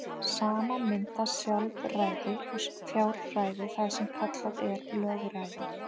Saman mynda sjálfræði og fjárræði það sem kallað er lögræði.